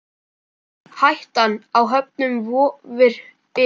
Hættan á höfnun vofir yfir.